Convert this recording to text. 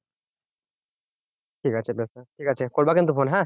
ঠিকাছে ঠিকাছে করবা কিন্তু ফোন হ্যাঁ